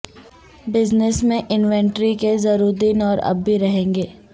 business میں inventory کے zero دن اور اب بھی رہیں گے